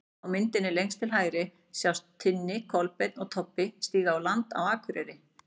Á myndinni lengst til hægri sjást Tinni, Kolbeinn og Tobbi stíga á land á Akureyri.